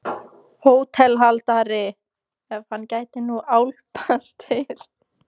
HÓTELHALDARI: Ef hann gæti nú álpast til.